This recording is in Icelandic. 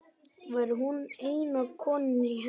Væri hún eina konan í her